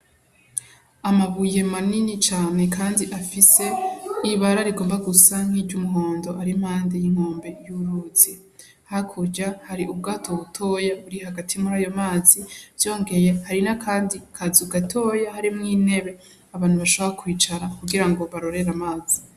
Amabuye manini cane kandi afise ibara rigomba gusa n'iryumuhondo ari impande y'inkombe y'uruzi. Hakurya hari ubwato butoyi buri hagati murayo mazi, vyongeye hari n'akandi kazu gatoya harimwo intebe, abantu bashobora kwicara kugira barorere amazi.